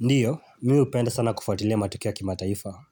Ndio, mimi hupenda sana kufuatilia matukio ya kimataifa.